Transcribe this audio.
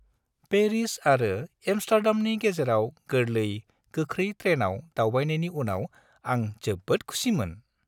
Paris आरो एम्स्टार्डामनि गेजेराव गोरलै, गोख्रै ट्रेनआव दावबायनायनि उनाव आं जोबोद खुसिमोन।